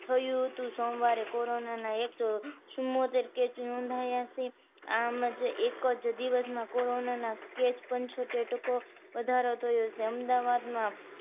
થયું હતું સોમવારે corona નાએક સો ચુંબોતેર case નોંધાયા છે આમ જે એક જ દિવસમાં corona ના case પંચોતેર ટકો વધારો થયો છે અમદાવાદમાં